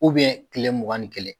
tile mugan ni kelen